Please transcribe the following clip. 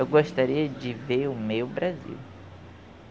Eu gostaria de ver o meu Brasil.